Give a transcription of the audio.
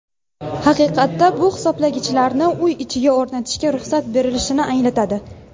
Haqiqatda bu hisoblagichlarni uy ichiga o‘rnatishga ruxsat berilishini anglatadi.